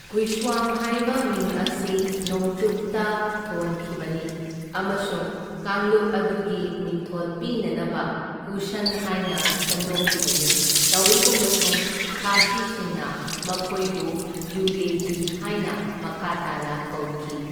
ꯒꯨꯏꯁ꯭ꯋꯥꯡ ꯍꯥꯢꯕ ꯃꯤꯡ ꯑꯁꯤ ꯅꯣꯡꯆꯨꯞꯇ ꯊꯣꯟꯈꯤꯕꯅꯤ ꯑꯃꯁꯨꯡ ꯀꯥꯡꯂꯨꯞ ꯑꯗꯨꯒꯤ ꯃꯤꯡꯊꯣꯜ ꯄꯤꯅꯅꯕ ꯀꯨꯁꯟ ꯍꯥꯏꯅ ꯁꯦꯝꯗꯣꯛꯈꯤꯕꯅꯤ, ꯇꯧꯏꯒꯨꯝꯕꯁꯨꯡ ꯈꯥꯒꯤꯁꯤꯡꯅ ꯃꯈꯣꯏꯕꯨ ꯌꯨꯌꯦꯓꯤ ꯍꯥꯏꯅ ꯃꯈꯥ ꯇꯥꯅ ꯀꯧꯈꯤ꯫